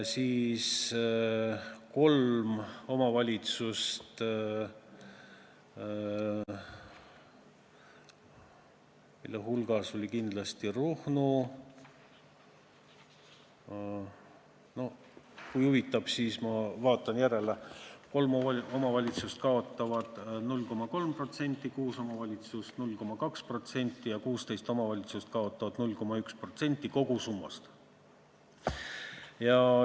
Kolm omavalitsust, mille hulgas on kindlasti Ruhnu – kui huvitab, siis ma vaatan järele –, kaotavad 0,3%, kuus omavalitsust 0,2% ja 16 omavalitsust kaotavad 0,1% kogusummast.